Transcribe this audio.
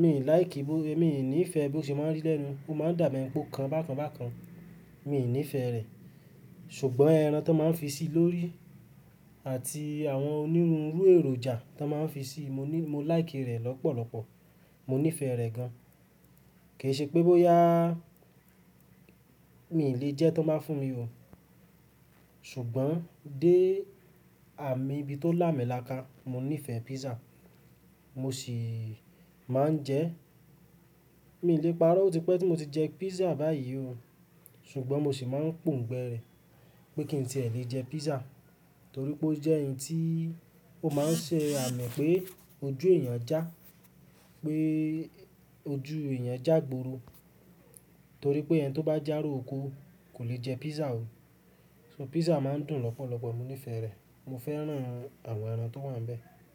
mi ò like, mi ò nífẹ̀ẹ́ bó ṣe máa ń rí lẹ́nu. Ó máa ń dàbẹ́ o kan bákan bákan. Mi ò nífẹ̀ẹ́ rẹ̀. Ṣùgbọ́n ẹran tó n máa ń fi sí lórí àti àwọn onírúurú èròjà tó n máa ń fi sí i, mo ní-- mo like rẹ̀ lọ́pọ̀lọpọ̀. Mo nífẹ̀ẹ́ rẹ̀ gan-an. Ke ṣe pé bó yáà mi lè jẹ́ tó n báa fún mi ò. Ṣùgbọ́n dé àmì ibi tó làámilàáká, mo nífẹ̀ẹ́ pizza. Mo sì máa ń jẹ ẹ́. Mi ò lè parọ́ otípẹ́ tí mo ti jẹ pizza báyìí ò. Ṣùgbọ́n mo sì máa ń pòǹgbẹ rẹ̀ pé kí n tí ẹ̀ lè jẹ pizza. Torí pé ó jẹ́ n tí ó máa ń ṣe àmì pé ojú èèyàn já, pé ojú èèyàn jà gboro. Torí pé ẹni tó bá jà róko kò lè jẹ pizza ò. So pizza máa ń dùn lọ́pọ̀lọpọ̀, mo nífẹ̀ẹ́ rẹ̀. Mo fẹ́ràn àwọn ẹran tó wà níbẹ̀.